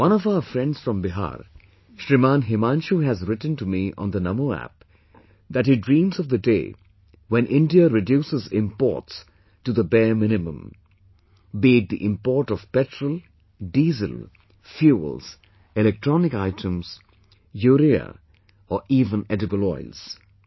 One of our friends from Bihar, Shriman Himanshu has written to me on the Namo App that he dreams of the day when India reduces imoports to the bare minimum...be it the import of Petrol, Diesel, fuels, electronic items, urea or even edible oils